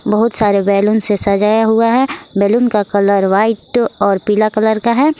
बहुत सारे बैलून से सजाया हुआ है बैलून का कलर व्हाइट और पीला कलर का है।